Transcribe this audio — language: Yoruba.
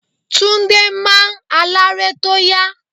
Túndé máa ń aláré tó yá.